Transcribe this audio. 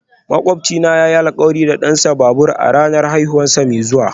Makwabcina yayi alkawari da dansa babur a ranar haihuwarsa mai zuwa